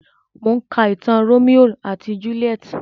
Mò ń ka ìtàn Rómíò àti Júlíétì.